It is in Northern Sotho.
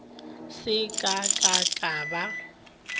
se ka ka ka ba